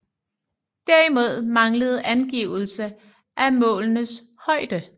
Derimod manglede angivelse af målenes højde